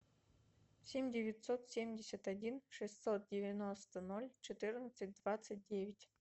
семь девятьсот семьдесят один шестьсот девяносто ноль четырнадцать двадцать девять